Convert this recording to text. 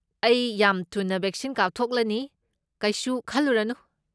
ꯑꯩ ꯌꯥꯝ ꯊꯨꯅ ꯕꯦꯛꯁꯤꯟ ꯀꯥꯞꯊꯣꯛꯂꯅꯤ, ꯀꯩꯁꯨ ꯈꯜꯂꯨꯔꯅꯨ꯫